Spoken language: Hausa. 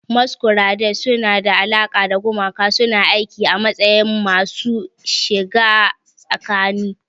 Masquerades suna da alaƙa da gumaka, suna aiki a matsayin masu shiga tsakani.